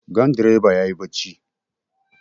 Gandireba ya yi barci.